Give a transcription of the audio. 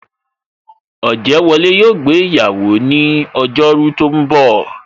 Ojewole yo gbé iyawo ni ojo ru tó ń bò